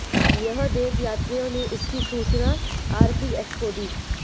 यह देख यात्रियों ने इसकी सूचना आरपीएफ को दी